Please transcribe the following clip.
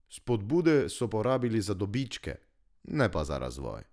Spodbude so porabili za dobičke, ne pa za razvoj.